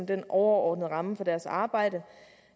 den overordnede ramme for deres arbejde